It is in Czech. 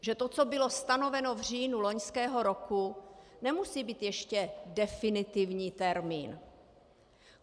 Že to, co bylo stanoveno v říjnu loňského roku, nemusí být ještě definitivní termín.